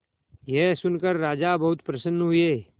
यह सुनकर राजा बहुत प्रसन्न हुए